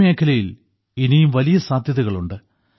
ഈ മേഖലയിൽ ഇനിയും വലിയ സാധ്യതകളുണ്ട്